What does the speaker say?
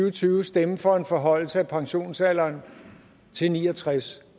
og tyve stemme for en forhøjelse af pensionsalderen til ni og tres